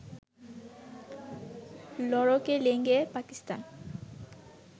লড়কে লেঙ্গে পাকিস্তান